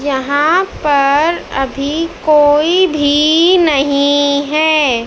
यहाँ पर अभी कोई भी नहीं है।